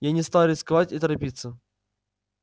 я не стал рисковать и торопиться